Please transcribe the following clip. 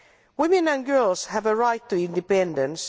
Women and girls have a right to independence.